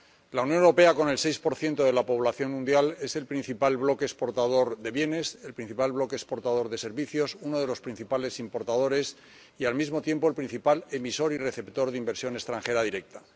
La Unión Europea, con el 6 de la población mundial, es el principal bloque exportador de bienes, el principal bloque exportador de servicios, uno de los principales importadores y, al mismo tiempo, el principal emisor y receptor de inversión extranjera directa.